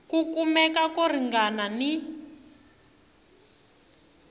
ku kumeka ko ringana ni